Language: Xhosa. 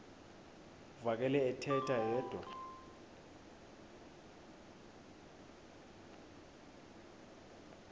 uvakele ethetha yedwa